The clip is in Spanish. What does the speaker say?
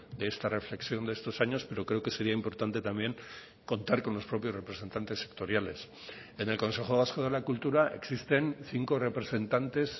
de esta reflexión de estos años pero creo que sería importante también contar con los propios representantes sectoriales en el consejo vasco de la cultura existen cinco representantes